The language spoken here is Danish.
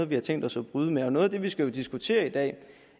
vi har tænkt os at bryde med noget af det vi skal diskutere i dag